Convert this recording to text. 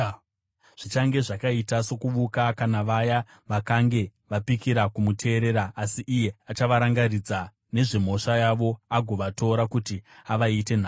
Zvichange zvakaita sokuvuka kuna vaya vakange vapikira kumuteerera, asi iye achavarangaridza nezvemhosva yavo agovatora kuti avaite nhapwa.